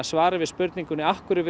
svarið við spurningunni af hverju